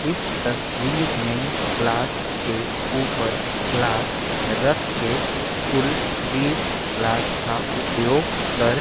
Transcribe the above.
इस तस्वीर में ग्लास के ऊपर गिलास रख कर कुल बीस ग्लास का उपयोग कर --